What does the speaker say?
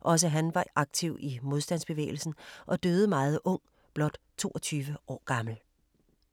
Også han var aktiv i modstandsbevægelsen og døde meget ung – blot 22 år gammel.